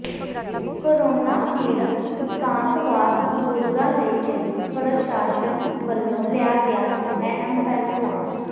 corona ਪੀੜਤ ਇਕਾਂਤਵਾਸ ਬਜ਼ੁਰਗਾਂ ਲਈ ਲਈ ਪ੍ਰਸ਼ਾਸਨ ਵੱਲੋਂ ਲਿਆ ਗਿਆ ਅਹਿਮ ਫੈਸਲਾ